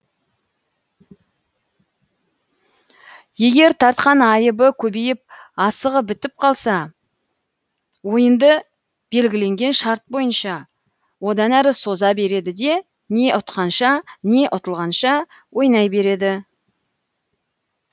егер тартқан айыбы көбейіп асығы бітіп қалса ойынды белгіленген шарт бойынша одан әрі соза береді де не ұтқанша не ұтылғанша ойнай береді